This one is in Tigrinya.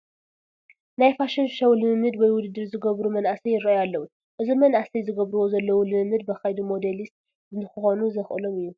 ናይ ፋሽን ሾው ልምምድ ወይ ውድድር ዝገብሩ መናእሰይ ይርአዩ ኣለዉ፡፡ እዞም መናእሰይ ዝገብርዎ ዘለዉ ልምምድ ብኸይዲ ሞዴሊት ንክኾኑ ዘኽእሎም እዩ፡፡